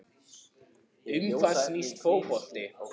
Um hvað snýst fótbolti?